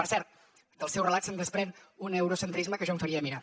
per cert del seu relat se’n desprèn un eurocentrisme que jo em faria mirar